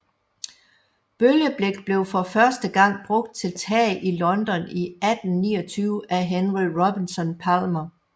Bølgeblik blev for første gang brugt til tag i London i 1829 af Henry Robinson Palmer